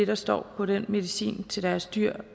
der står på den medicin til deres dyr